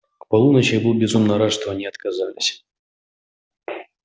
к полуночи я был безумно рад что они отказались